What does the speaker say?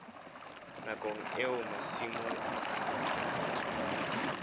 nakong eo masimo a tlohetsweng